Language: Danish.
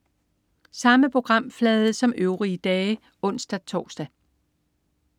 Samme programflade som øvrige dage (ons-tors)